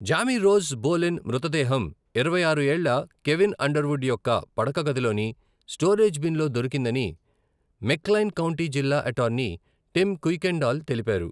Jamie Rose Bolin మృతదేహం, ఇరవై ఆరు ఏళ్ల కెవిన్ అండర్వుడ్ యొక్క పడక గదిలోని స్టోరేజ్ బిన్లో దొరికిందని మెక్క్లైన్ కౌంటీ జిల్లా అటార్నీ టిమ్ కుయ్కెండాల్ తెలిపారు.